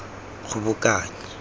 kgobokanya